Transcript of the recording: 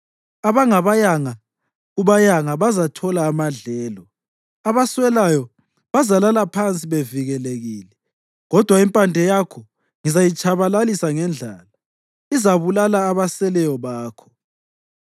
Abangabayanga kubayanga bazathola amadlelo, abaswelayo bazalala phansi bevikelekile. Kodwa impande yakho ngizayitshabalalisa ngendlala; izabulala abaseleyo bakho.